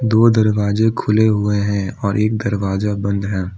दो दरवाजे खुले हुए हैं और एक दरवाजा बंद है।